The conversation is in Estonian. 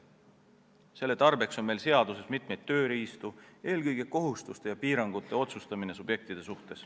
Selle tarbeks on meil seaduses mitmeid tööriistu, eelkõige subjekte puudutavate kohustuste ja piirangute üle otsustamine.